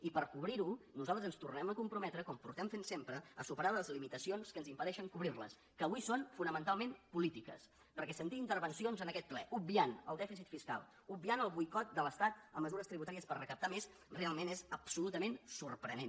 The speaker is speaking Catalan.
i per cobrir ho nosaltres ens tornem a comprometre com portem fent sempre a superar les limitacions que ens impedeixen cobrir les que avui són fonamentalment polítiques perquè sentir intervencions en aquest ple obviant el dèficit fiscal obviant el boicot de l’estat a mesures tributàries per recaptar més realment és absolutament sorprenent